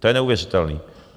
To je neuvěřitelné.